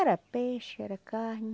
Era peixe, era carne.